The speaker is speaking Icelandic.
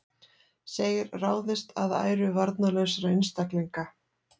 Segir ráðist að æru varnarlausra einstaklinga